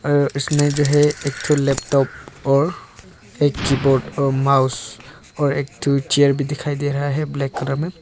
और इसमें जो है एक ठो लैपटॉप और एक कीबोर्ड और माउस और एक ठो चेयर भी दिखाई दे रहा है ब्लैक कलर में।